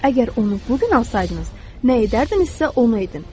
Əgər onu bu gün alsaydınız, nə edərdinizsə, onu edin.